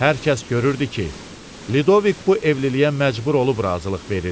Hər kəs görürdü ki, Lidovik bu evliliyə məcbur olub razılıq verir.